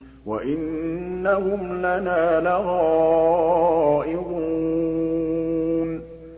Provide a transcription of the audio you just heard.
وَإِنَّهُمْ لَنَا لَغَائِظُونَ